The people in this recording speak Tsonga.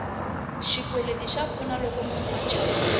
xikweleti xa pfuna loko munhu a chayile